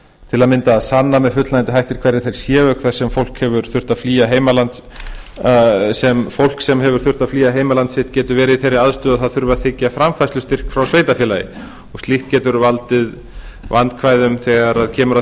til að mynda að sanna með fullnægjandi hætti hverjir þeir séu sem fólk sem hefur þurft að flýja heimaland sitt getur verið í þeirri aðstöðu að það þurfi að þiggja framfærslustyrk frá sveitarfélagi og slíkt getur valdið vandkvæðum þegar kemur að